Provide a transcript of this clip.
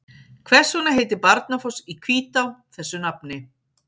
Hvers vegna heitir Barnafoss í Hvítá þessu nafni?